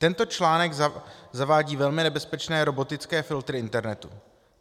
Tento článek zavádí velmi nebezpečné robotické filtry internetu.